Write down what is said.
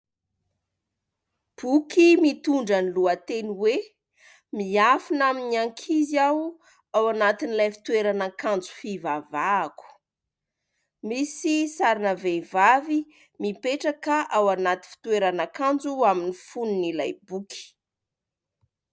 Boky mitondra ny lohateny hoe "Miafina amin'ny ankizy aho ao anatin'ilay fitoeran'akanjo fivavahako". Misy sarina vehivavy mipetraka ao anaty fitoeran'akanjo ao amin'ny fonon'ilay boky.